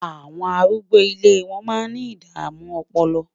àwọn arúgbó ilé wọn má ní idamu ọpọlọ